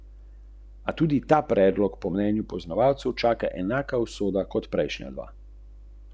In o Petru?